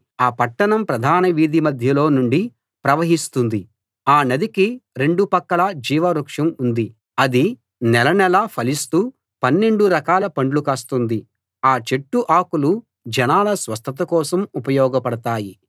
ఆ పట్టణం ప్రధాన వీధి మధ్యలో నుండి ప్రవహిస్తుంది ఆ నదికి రెండు పక్కలా జీవ వృక్షం ఉంది అది నెల నెలా ఫలిస్తూ పన్నెండు రకాల పండ్లు కాస్తుంది ఆ చెట్టు ఆకులు జనాల స్వస్థత కోసం ఉపయోగపడతాయి